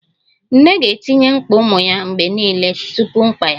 Nne ga-etinye mkpa ụmụ ya mgbe niile tupu mkpa ya